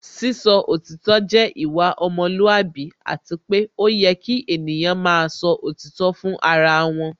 Sísọ òtítọ́ jẹ́ ìwà ọmọlúwàbí Àti pé ó yẹ kí ènìyàn máa sọ òtítọ́ fún ara wọn